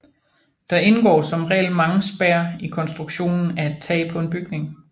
Der indgår som regel mange spær i konstruktionen af et tag på en bygning